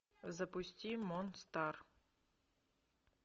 запусти мон стар